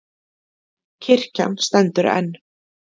Kirkjan stendur enn